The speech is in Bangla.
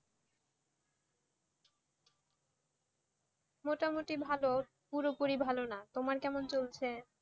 মোটামুটি ভালই পুরোপুরি ভালো না তোমার কেমন চলছে